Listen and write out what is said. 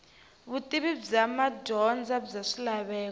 vutivi bya madyondza bya swilaveko